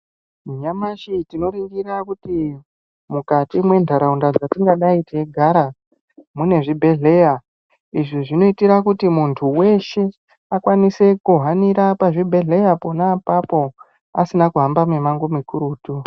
Nyamashi tinoringira kuti mukati mwentaraunda dzatingàdai teigarà mune zvibhedhleya izvi zvinoite kuti muntu weshe akwanise kuhanira pazvibhedhleya pona apapo asina kuhamba mumango mukurutu.